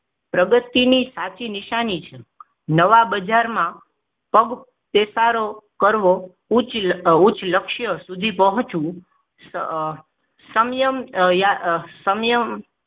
પ્રગતિની સાચી નિશાની છે નવા બજારમાં પગ પેસારો કરવો ઉચ્ચ લક્ષ્ય સુધી પહોંચવું સમયમ સમયમ